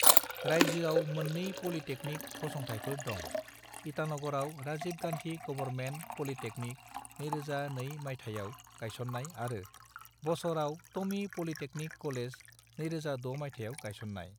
रायजोआव मोननै पॉलिटेक्निक फसंथाइफोर दं: ईटानगरआव राजीव गांधी गवर्नमेंट पॉलिटेक्निक 2002 मायथाइयाव गायसननाय आरो बसरआव टोमी पॉलिटेक्निक कॉलेज 2006 मायथाइयाव गायसननाय।